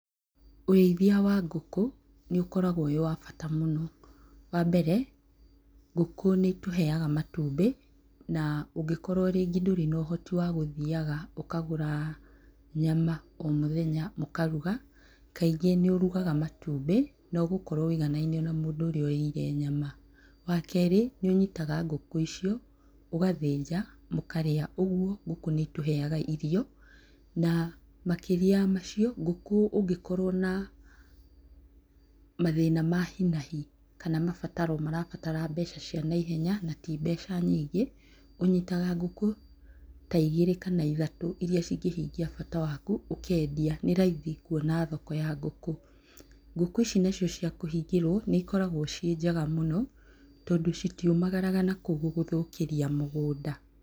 Ũrĩithia wa ngũkũ nĩũkũragwo wĩwabata mũno. Wa mbere ngũkũ nĩitũheaga matumbĩ na ũngĩkorwo rĩngĩ ndũrĩ na ũhoti wa gũthiaga ũkagũra nyama o mũthenya ũkaruga, kaingĩ nĩũrugaga matumbĩ na ũgũkorwo wũiganaine na mũndũ ũrĩa ũrĩire nyama. Wa kerĩ nĩũnyitaga ngũkũ icio ũgathĩnja mũkarĩa. Ũguo ngũkũ nĩitũheaga irio na makĩria ya macio ngũkũ ũngĩ korwo na mathĩna ma hinahi kana mabataro marabatara mbeca cia naihenya na ti mbeca nyingĩ, ũnyitaga ngũkũ ta igĩrĩ kana ithatũ iria cingĩhingia bata waku ũkendia, nĩ raithi kwona thoko ya ngũkũ. Ngũkũ ici nacio cia kũhingĩrwo nĩ ikoragwo ciĩ njega mũno, tondũ citiumagaraga mũno nakuo gũgũthũkĩria mũgũnda.